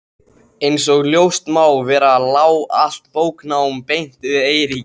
Einsog ljóst má vera lá allt bóknám beint við Eiríki.